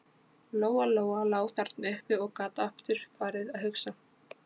Lóa Lóa lá þarna uppi og gat aftur farið að hugsa.